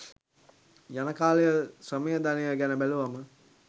යන කාලය ශ්‍රමය ධනය ගැන බැලුවම.